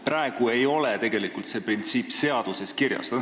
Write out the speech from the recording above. Praegu ei ole seda printsiipi tegelikult seaduses kirjas.